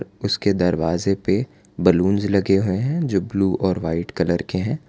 उसके के दरवाजे पे बैलून लगे हुए हैं जो ब्ल्यू और व्हाईट कलर के हैं।